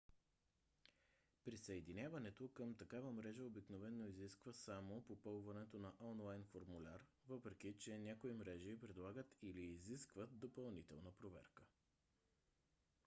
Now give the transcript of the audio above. присъединяването към такава мрежа обикновено изисква само попълването на онлайн формуляр въпреки че някои мрежи предлагат или изискват допълнителна проверка